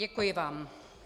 Děkuji vám.